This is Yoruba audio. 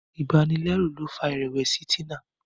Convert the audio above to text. ibanilẹru ló fà irẹwẹsi Tina.